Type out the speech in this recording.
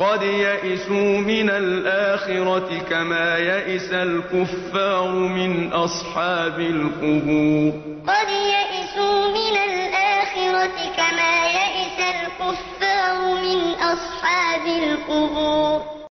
قَدْ يَئِسُوا مِنَ الْآخِرَةِ كَمَا يَئِسَ الْكُفَّارُ مِنْ أَصْحَابِ الْقُبُورِ يَا أَيُّهَا الَّذِينَ آمَنُوا لَا تَتَوَلَّوْا قَوْمًا غَضِبَ اللَّهُ عَلَيْهِمْ قَدْ يَئِسُوا مِنَ الْآخِرَةِ كَمَا يَئِسَ الْكُفَّارُ مِنْ أَصْحَابِ الْقُبُورِ